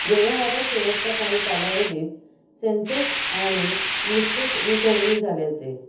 व्यवहारात शेवटचा काही कालावधीत सेन्सेक्स आणि निफ्टीत रिकव्हरी झाल्याचे